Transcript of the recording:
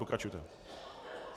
Pokračujte.